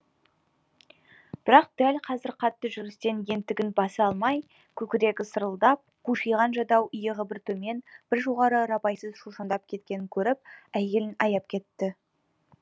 бірақ дәл қазір қатты жүрістен ентігін баса алмай көкірегі сырылдап қушиған жадау иығы бір төмен бір жоғары рабайсыз шошаңдап кеткенін көріп әйелін аяп кетті